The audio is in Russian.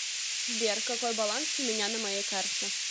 сбер какой баланс у меня на моей карте